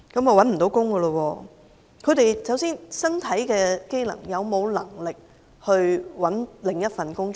首先，他們的身體機能是否可讓他們尋找另一份工作呢？